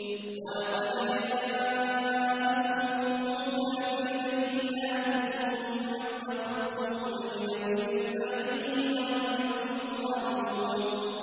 ۞ وَلَقَدْ جَاءَكُم مُّوسَىٰ بِالْبَيِّنَاتِ ثُمَّ اتَّخَذْتُمُ الْعِجْلَ مِن بَعْدِهِ وَأَنتُمْ ظَالِمُونَ